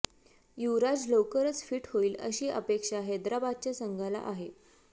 युवराज लवकरच फिट होईल अशी अपेक्षा हैदराबादच्या संघाला आहे